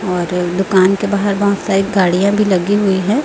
और दुकान के बाहर बहोत सारी गाड़ियाॅं भी लगी हुई हैं।